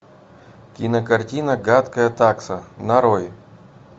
кинокартина гадкая такса нарой